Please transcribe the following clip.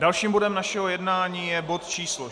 Dalším bodem našeho jednání je bod číslo